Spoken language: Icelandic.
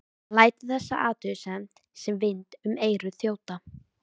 Hann lætur þessa athugasemd sem vind um eyru þjóta.